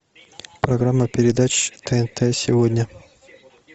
программа передач тнт сегодня